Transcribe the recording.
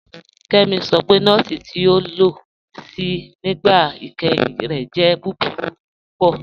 Kemí sọ pé nọ̀ọ̀sì ti o lo sí nígbà ìkẹ́hìn rẹ̀ jẹ̀ búburú púpọ̀.